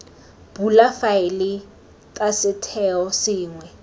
bula faele ta setheo sengwe